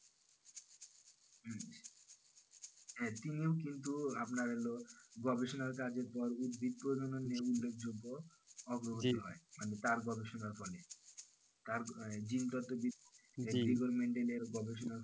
তিনিও কিন্তু আপনার এল গবেষণার কাজে তোমার উদ্ভিদ প্রজনন উল্লেখ যোগ্য হয় তার মানে গবেষণার ফলে তার জীন দত্ত oniment এর গবেষণায়